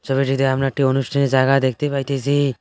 ছবিটিতে আমরা একটি অনুষ্ঠানের জায়গা দেখতে পাইতেসি।